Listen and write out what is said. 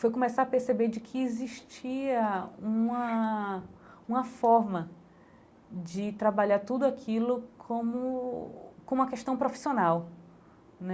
foi começar a perceber de que existia uma uma forma de trabalhar tudo aquilo como como uma questão profissional né.